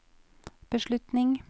beslutning